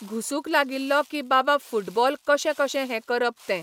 घुसूंक लागिल्लो की बाबा फुटबॉल कशे कशे हें करप ते.